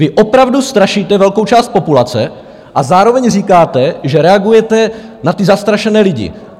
Vy opravdu strašíte velkou část populace a zároveň říkáte, že reagujete na ty zastrašené lidi.